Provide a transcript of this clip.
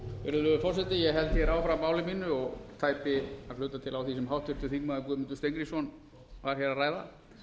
virðulegur forseti ég held hér áfram máli mínu og tæpi að hluta til á því sem háttvirtur þingmaður guðmundur steingrímsson var hér að ræða